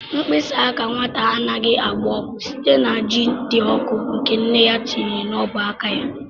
Mkpịsị aka nwata anaghị agba ọkụ site na ji dị ọkụ nke nne ya tinyere n'ọbụ aka ya.